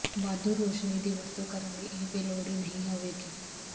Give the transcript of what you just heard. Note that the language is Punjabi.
ਵਾਧੂ ਰੋਸ਼ਨੀ ਦੀ ਵਰਤੋਂ ਕਰਨ ਲਈ ਇਹ ਬੇਲੋੜੀ ਨਹੀਂ ਹੋਵੇਗੀ